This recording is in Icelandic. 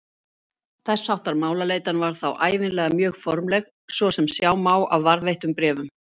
Þess háttar málaleitan var þá ævinlega mjög formleg, svo sem sjá má af varðveittum bréfum.